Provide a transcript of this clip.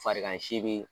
Farigan si be yen